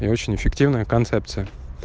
и очень эффективная концепция